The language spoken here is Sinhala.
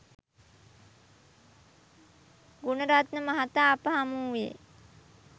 ගුණරත්න මහතා අප හමුවූයේ